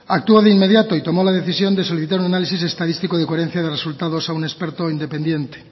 actuó de inmediato y tomó la decisión de solicitar un análisis estadístico de coherencia de resultados a un experto independiente